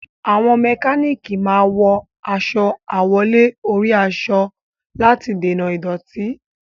Àwọn mẹkánánìkì máa wọ aṣọ àwọ̀lé-orí-aṣọ láti dènà ìdọ̀tí.